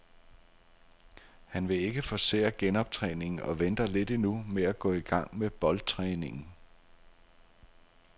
Han vil ikke forcere genoptræningen og venter lidt endnu med at gå i gang med boldtræningen.